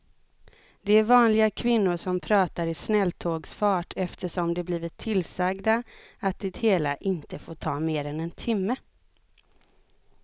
Det är vanliga kvinnor som pratar i snälltågsfart eftersom de blivit tillsagda att det hela inte får ta mer än en timme.